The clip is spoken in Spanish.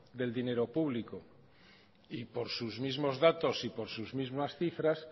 del dinero público y por sus mismos datos y por sus mismas cifras